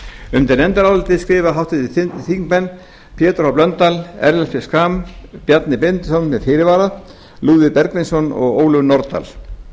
undir nefndarálitið skrifa háttvirtir þingmenn pétur h blöndal ellert b schram bjarni benediktsson með fyrirvara lúðvík bergvinsson og ólöf nordal